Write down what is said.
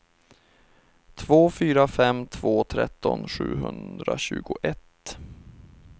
två fyra fem två tretton sjuhundratjugoett